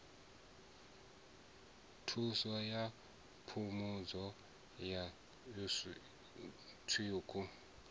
thuso ya phungudzo ya tsiku